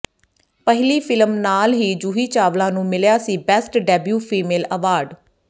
ਪਹਿਲੀ ਫਿਲਮ ਨਾਲ ਹੀ ਜੂਹੀ ਚਾਵਲਾ ਨੂੰ ਮਿਲਿਆ ਸੀ ਬੈਸਟ ਡੈਬਿਊ ਫੀਮੇਲ ਐਵਾਰਡ